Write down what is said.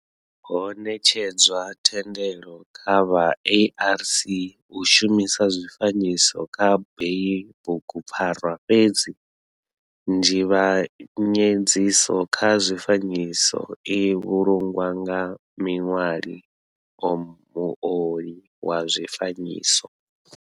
Ho netshedzwa thendelo kha vha ARC u shumisa zwifanyiso kha heyi bugupfarwa fhedzi nzivhanyedziso kha zwifanyiso i vhulungwa nga miṋwali or muoli wa zwifanyiso.